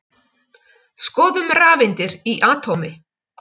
Skoðum rafeindir í atómi.